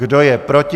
Kdo je proti?